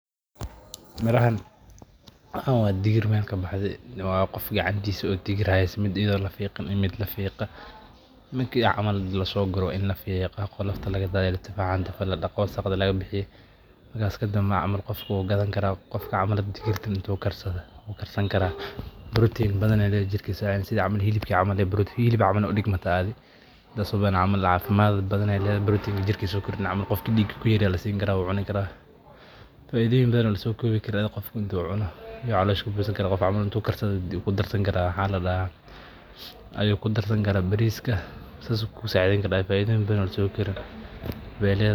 Miraxan, waxan wa digir mel kabahde wa gof kacantis o digir xayso, mid ido lafiqin iyo mid lafiqee midki camal lasoguroo wa in lafigaa qolofta lagadadiyo latafcaa, inti ladaqoo wasaqda laqabihiyoo markas kadenba camal u gadanikaraa digirta karsani karaa protein badan ayay ledexr sidi xilibka camal udigmata protein sidhe xilibka camal aya udigmata adho, cafimad badan ayay ledehe, protein jirkisa kujiriin ama sidhw camal gofka diiga kuyar aya lasini karaa, wucunikara, faidoyin badan oo lakosobikarin aya gofka marku cuno u calosha kabuhsanikaraa, intu karsado ayu biya kudarsani karaa, waxa ladaxa ayu kudarsani kara bariska sidhas kulasacideyni kara, faidoyin badan o lasokobi karin bay ledaxa.